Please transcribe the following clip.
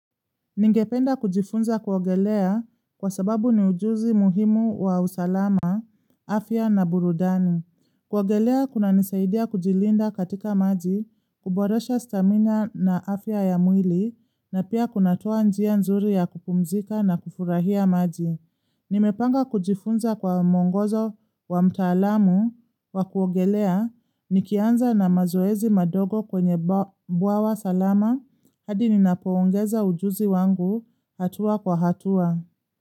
Ningependa kujifunza kuogelea kwa sababu ni ujuzi muhimu wa usalama, afya na burudani. Kuogelea kuna nisaidia kujilinda katika maji, kuboresha stamina na afya ya mwili, na pia kunatoa njia nzuri ya kupumzika na kufurahia maji. Nimepanga kujifunza kwa mwongozo wa mtaalamu wa kuongelea nikianza na mazoezi madogo kwenye bwawa salama hadi ninapoongeza ujuzi wangu hatua kwa hatua.